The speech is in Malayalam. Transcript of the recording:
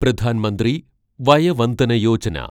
പ്രധാൻ മന്ത്രി വയ വന്ദന യോജന